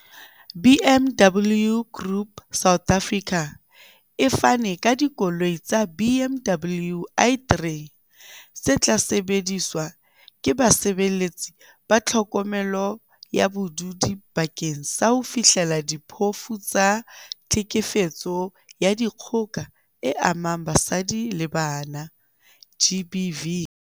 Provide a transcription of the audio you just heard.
BMW Group South Africa e fane ka dikoloi tsa BMW i3 tse tla sebediswa ke basebeletsi ba tlhokomelo ya badudi bakeng sa ho fihlella diphofu tsa tlhekefetso ya dikgoka e amang basadi le bana, GBV.